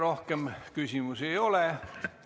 Rohkem küsimusi ei ole.